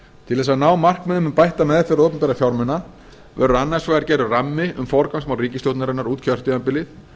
til þess að ná markmiðum um bætta meðferð opinberra fjármuna verður annars vegar gerður rammi um forgangsmál ríkisstjórnarinnar út kjörtímabilið